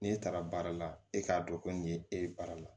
N'e taara baara la e k'a dɔn ko nin ye e ye baara la